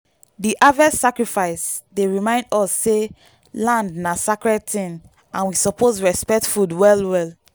di harvest sacrifice dey remind us say land na sacred thing and we suppose respect food well well.